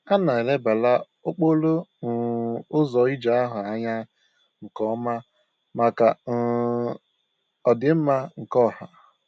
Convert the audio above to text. A na-elebara okporo um ụzọ ije ahụ anya nke ọma maka um ọdị mma nke ọha